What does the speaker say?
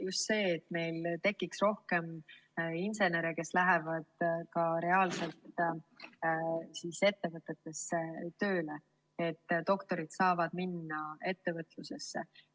Just see, et meil tekiks rohkem insenere, kes lähevad reaalselt ettevõtetesse tööle, doktorid saaksid minna ettevõtlusesse.